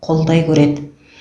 қолдай көреді